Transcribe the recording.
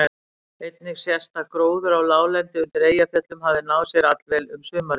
Einnig sést að gróður á láglendi undir Eyjafjöllum hafði náð sér allvel um sumarið.